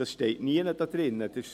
das steht nirgends.